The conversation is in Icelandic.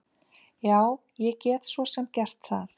Já, ég get svo sem gert það.